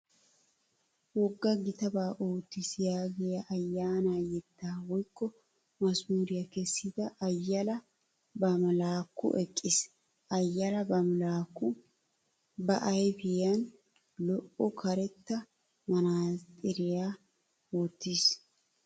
"Wogga gitabaa oottiis" yaagiya ayyaana yettaa woykko mazamuriyaa kessida Ayyala Bamlaakku eqqiis. Ayyala Bamlaakku ba ayfiyan lo'iya karetta manaatsiriyaa wottiis.